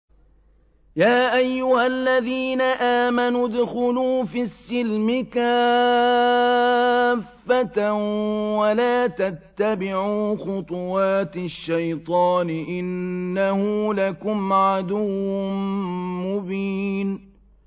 يَا أَيُّهَا الَّذِينَ آمَنُوا ادْخُلُوا فِي السِّلْمِ كَافَّةً وَلَا تَتَّبِعُوا خُطُوَاتِ الشَّيْطَانِ ۚ إِنَّهُ لَكُمْ عَدُوٌّ مُّبِينٌ